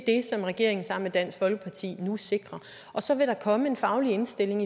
som regeringen sammen med dansk folkeparti nu sikrer og så vil der komme en faglig indstilling